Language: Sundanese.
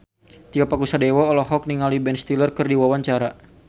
Tio Pakusadewo olohok ningali Ben Stiller keur diwawancara